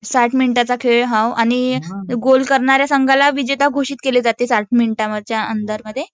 हां साठ मिनिटांचा खेळ आणि हो गोल करणाऱ्या संघाला विजेता घोषित केले जाते. साठ मिनिटांच्या अंडर मध्ये